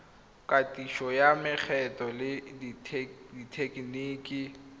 katiso ya mekgwa le dithekeniki